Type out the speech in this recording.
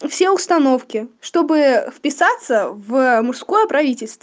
все установки чтобы вписаться в мужское правительство